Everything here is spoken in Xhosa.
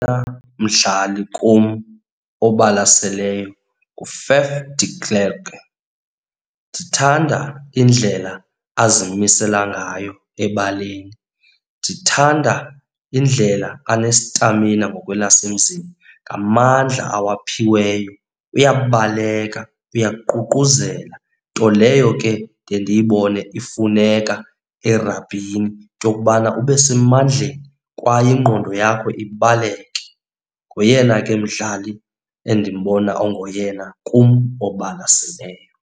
mdlali kum obalaseleyo nguFaf de Klerk. Ndithanda indlela azimisela ngayo ebaleni. Ndithanda indlela anestamina ngokwelasemzini, ngamandla awaphiweyo, uyabaleka, uyaququzela. Nto leyo ke ndiye ndiyibone ifuneka erabhini, into yokubana ube semandleni kwaye ingqondo yakho ibaleke. Ngoyena ke mdlali endimbona ongoyena kum obalaseleyo.